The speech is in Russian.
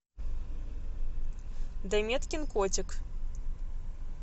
данеткин котик